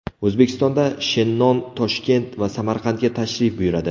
O‘zbekistonda Shennon Toshkent va Samarqandga tashrif buyuradi.